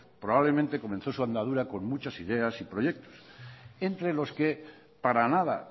probablemente comenzó su andadura con muchas ideas y proyectos entre los que para nada